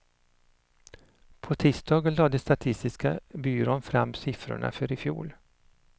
På tisdagen lade statistiska byrån fram siffrorna för i fjol.